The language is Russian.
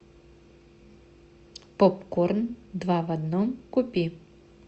попкорн два в одном купи